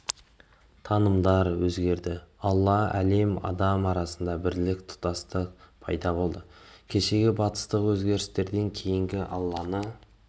танымдар өзгерді алла әлем адам арасында бірлік тұтастық пайда болды кешегі батыстық өзгерістерден кейін алланы